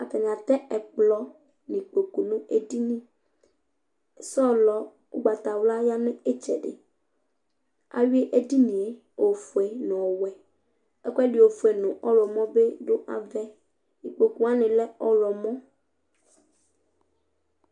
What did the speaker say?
Ataŋi atɛ ɛkplɔ ŋu ikpoku ni ŋu ɛɖìní Sɔlɔ ugbatawla ya ŋu itsɛɖi Awʋi ɛɖìníe ɔfʋe ŋu ɔwɛ Ɛkʋɛɖi ɔfʋe ŋu ɔwlɔmɔ bi ɖu avaɛ Ikpoku waŋi lɛ ɔwlɔmɔ